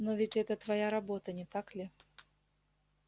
но ведь это твоя работа не так ли